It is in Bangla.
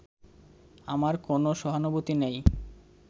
আমার কোনও সহানুভূতি নেই